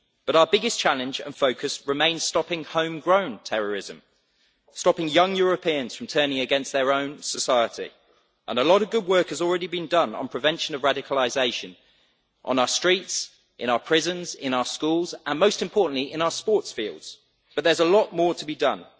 But our biggest challenge and focus remains stopping home-grown terrorism, stopping young Europeans from turning against their own society. A lot of good work has already been done on the prevention of radicalisation on our streets, in our prisons, in our schools and, most importantly, on our sports fields, but there is a lot more to be done.